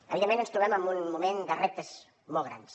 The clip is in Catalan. evidentment ens trobem en un moment de reptes molt grans